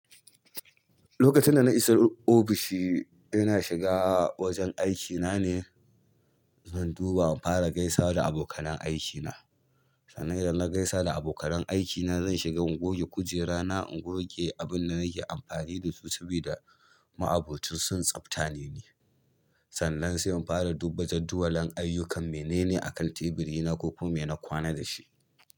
Lokacin da na isa ofishi, ina shiga wajen aikina ne, zan duba in fara gaisawa da abokan aikina. Sannan idan na gaisa da abokan aikina, zan shiga in goge kujerana, in goge abin da nake amfani da su saboda ma'aboci son tsaftane ni. Sannan sai in fara duba jadawali aiyukan menene akan tabiri na ko kuma me na kwana dashi.